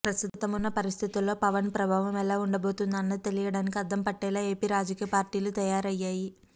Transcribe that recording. ప్రస్తుతం ఉన్న పరిస్థితుల్లో పవన్ ప్రభావం ఎలా ఉండబోతుందో అన్నది తెలియడానికి అద్దం పట్టేలా ఏపీ రాజకీయ పార్టీలు తయారయ్యాయి